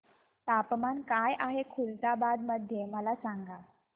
तापमान काय आहे खुलताबाद मध्ये मला सांगा